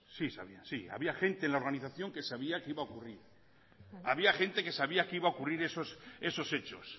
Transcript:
sí sabía sí había gente en la organización que sabía que iba a ocurrir había gente que sabía que iba a ocurrir esos hechos